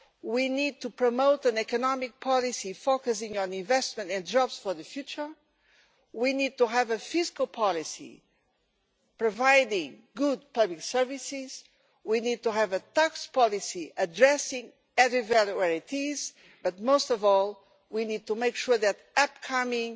We need to promote an economic policy focusing on investment and jobs for the future. We need to have a fiscal policy providing good public services. We need to have a tax policy addressing added value where it is, but most of all we need to make sure that the upcoming